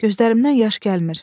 Gözlərimdən yaş gəlmir.